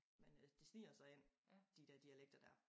Men øh det sniger sig ind de dér dialekter dér